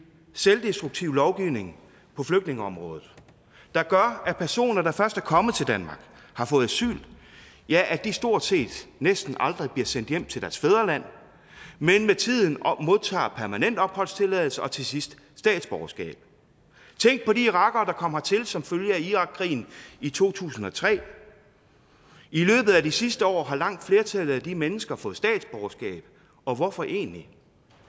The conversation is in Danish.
selvdestruktiv lovgivning på flygtningeområdet der gør at personer når de først er kommet til danmark har fået asyl ja at de stort set næsten aldrig bliver sendt hjem til deres fædreland men med tiden modtager permanent opholdstilladelse og til sidst statsborgerskab tænk på de irakere der kom hertil som følge af irakkrigen i to tusind og tre i løbet af de sidste år har langt flertallet af de mennesker fået statsborgerskab og hvorfor egentlig